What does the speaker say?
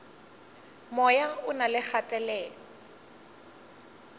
moya o na le kgatelelo